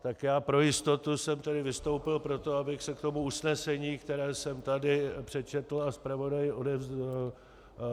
Tak já pro jistotu jsem tady vystoupil proto, aby se k tomu usnesení, které jsem tady přečetl a zpravodaji odevzdal...